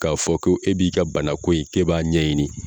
K'a fɔ ko e b'i ka banako in e b'a ɲɛɲini